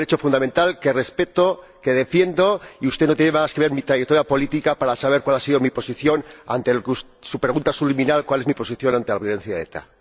Es un derecho fundamental que respeto, que defiendo, y usted no tiene más que ver mi trayectoria política para saber cuál ha sido mi posición ante su pregunta subliminal ¿cuál es mi posición ante la violencia de ETA?.